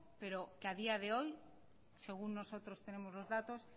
pero que a día de hoy según nosotros tenemos los datos